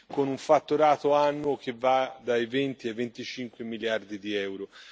con un fatturato annuo che va dai 20 ai 25 miliardi di euro.